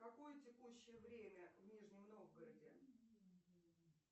какое текущее время в нижнем новгороде